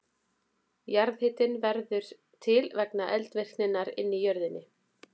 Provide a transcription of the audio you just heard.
Jarðhitinn verður til vegna eldvirkninnar inni í jörðinni.